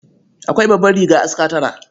Akwai babbar riga aska tara.